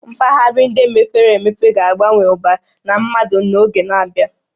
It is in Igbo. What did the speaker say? Mpaghara ndị mepere emepe ga-abawanye ụba na mmadụ n'oge na-abịa